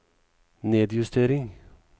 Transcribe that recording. nedjustering